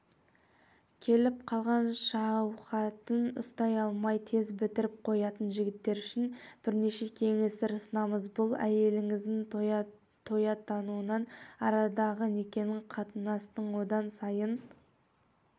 келіп қалған шәуһатын ұстай алмай тез бітіріп қоятын жігіттер үшін бірнеше кеңестер ұсынамыз бұл әйеліңіздің тояттауына арадағы некенің қатынастың одан сайын